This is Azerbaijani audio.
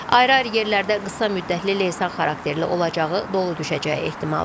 Ayrı-ayrı yerlərdə qısa müddətli leysan xarakterli olacağı, dolu düşəcəyi ehtimalı var.